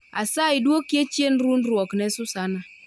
Asayi dwokie chien rundruok ne susana